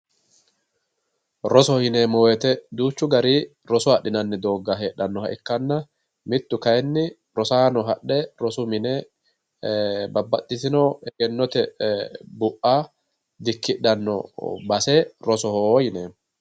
Rosoho yineemmo woyte duuchu garinni roso adhinanni dooga heedhanoha ikkanna mitu kayinni rosaano hadhe rosu mine babbaxitino egennote bu'a dikkidhano base rosoho yineemmo.